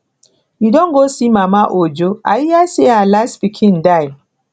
you don go see mama ojo i hear say her last pikin die